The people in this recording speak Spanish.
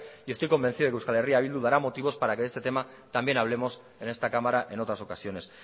y esto convencido que eh bildu dará motivos para que de este tema también hablemos en esta cámara en otras ocasiones